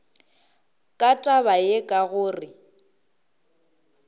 ka taba ye ka gore